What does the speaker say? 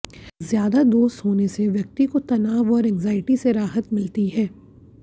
ज्यादा दोस्त होने से व्यक्ति को तनाव और एंग्जाइटी से राहत मिलती है